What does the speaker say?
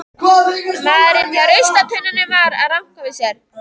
Maðurinn hjá ruslatunnunum var að ranka við sér.